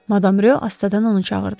Madam Ro astadan onu çağırdı.